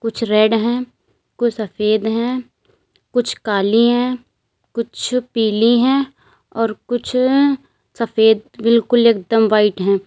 कुछ रेड हैं कुछ सफेद हैं कुछ काली हैं कुछ पीली हैं और कुछ सफेद बिल्कुल एकदम व्हाइट हैं।